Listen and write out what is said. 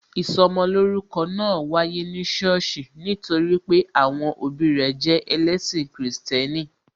Ìsọmolórúkọ náà wáyé ní sọ́ọ̀sì nítorí pé àwọn òbí rẹ jẹ ẹlẹ́ṣin Kristẹni